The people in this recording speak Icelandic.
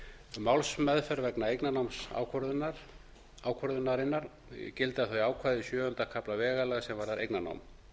að málsmeðferð vegna eignarnámsákvörðunarinnar gilda þau ákvæði sjöunda kafla vegalaga sem varða eignarnám